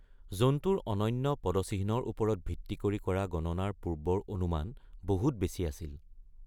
জন্তুৰ অনন্য পদচিহ্নৰ ওপৰত ভিত্তি কৰি কৰা গণনাৰ পূৰ্বৰ অনুমান বহুত বেছি আছিল।